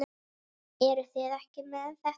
Eruð þið ekki með þetta?